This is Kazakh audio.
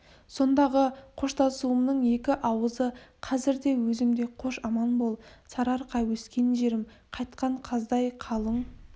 сондағы қоштасуымның екі ауызы қазір де есімде қош аман бол сарыарқа өскен жерім қайтқан қаздай қалың